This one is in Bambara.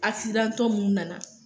tɔ minnu nana